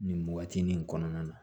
Nin waati nin kɔnɔna na